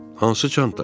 Hansı çanta?